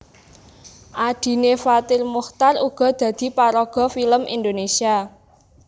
Adhine Fathir Muchtar uga dadi paraga film Indonesia